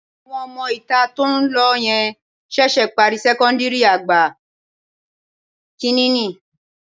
Àwọn ọmọ-ìta tó ń lọ yẹn ṣẹ̀ṣẹ̀ parí sẹ́kọ́ńdìrì àgbà kìíní ni